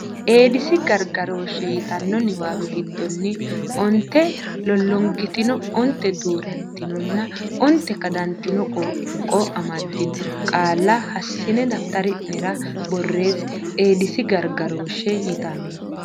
Eedisi Gargarooshshe yitanno niwaawe giddonni onte lollongitino onte duu rantinonna onte kadantino qoonqo amaddino qaalla hassine daftari nera borreesse Eedisi Gargarooshshe yitanno.